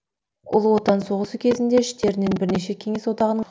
ұлы отан соғысы кезінде іштерінен бірнеше кеңес одағының